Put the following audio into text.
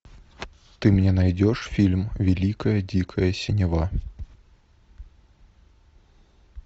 ты мне найдешь фильм великая дикая синева